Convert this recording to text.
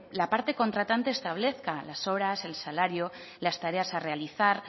la parte contratante establezca las horas el salario las tareas a realizar